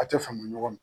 A tɛ fama ɲɔgɔn ma